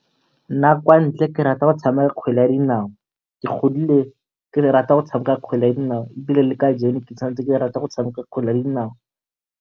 Nna kwa ntle ke rata go tshameka kgwele ya dinao. Ke godile ke rata go tshameka kgwele ya dinao ebile le kajeno ke santse ke rata go tshameka kgwele ya dinao.